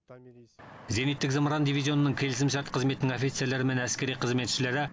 зениттік зымыран дивизионының келісімшарт қызметінің офицерлері мен әскери қызметшілері